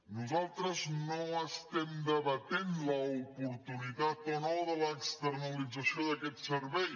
nosaltres no estem debatent l’oportunitat o no de l’externalització d’aquest servei